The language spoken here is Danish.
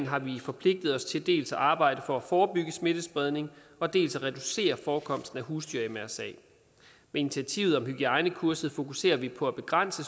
har vi forpligtet os til dels at arbejde for at forebygge smittespredning dels at reducere forekomsten af husdyr mrsa med initiativet om hygiejnekurset fokuserer vi på at begrænse